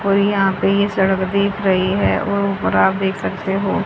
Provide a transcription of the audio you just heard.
और यहां पे ये सड़क दिख रही है और ऊपर आप देख सकते हो--